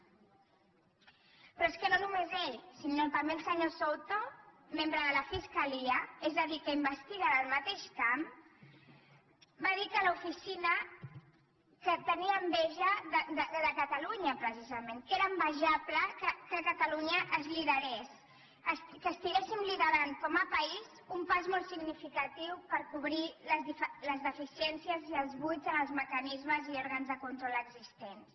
però és que no només ell sinó també el senyor souto membre de la fiscalia és a dir que investiga en el mateix camp va dir que tenia enveja de catalunya precisament que era envejable que a catalunya es liderés que estiguéssim liderant com a país un pas molt significatiu per cobrir les deficiències i els buits en els mecanismes i òrgans de control existents